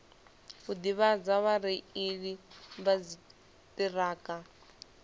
u ḓivhadza vhareili vha dziṱhirakha